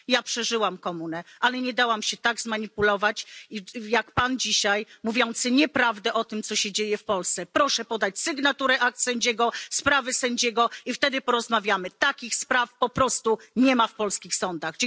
Ja przeżyłam komunę, ale nie dałam się tak zmanipulować, jak Pan dzisiaj, mówiący nieprawdę o tym, co się dzieje w Polsce. Proszę podać sygnaturę akt sędziego, sprawy sędziego, i wtedy porozmawiamy. Takich spraw po prostu nie ma w polskich sądach.